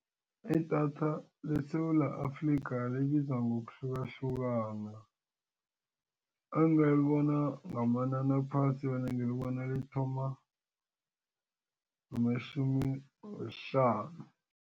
Idatha leSewula Afrika libiza ngokuhlukahlukana angalibona ngamanani aphasi vane ngilibona lithoma ngamatjhumi wesihlanu.